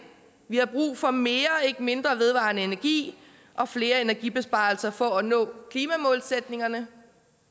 vi har brug for mere ikke mindre vedvarende energi og flere energibesparelser for at nå klimamålsætningerne